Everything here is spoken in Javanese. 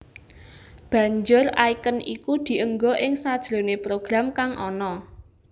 Banjur icon iku dienggo ing sajroné program kang ana